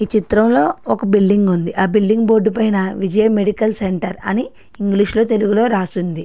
ఈ చిత్రంలోని ఒక బిల్డింగ్ ఉంది. ఆ బిల్డింగ్ బోర్డు మీద విజయ మెడికల్ సెంటర్ అని ఇంగ్లీషులోని తెలుగులోనే ఉంది.